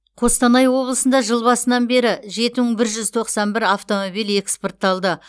қостанай облысында жыл басынан бері жеті мың бір жүз тоқсан бір автомобиль экспортталды